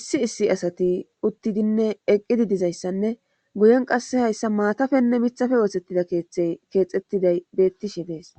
issi issi asati uttidinne eqqidi dizayssanne guyen qasse hayssa maatafenne mithafe ootsettida keetthey keexettiday beettishi dees